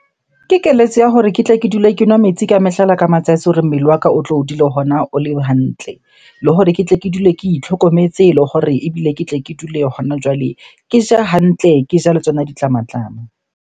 Ke keletso ya hore ke tle ke dule ke nwa metsi ka mehla le ka matsatsi hore mmele wa ka o tlo o dule hona o le hantle. Le hore ke tle ke dule ke itlhokometse, le hore ebile ke tle ke dule hona jwale ke ja hantle, ke ja le tsona ditlamatlama.